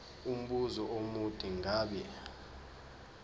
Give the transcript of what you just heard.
umbuzo omude ngabe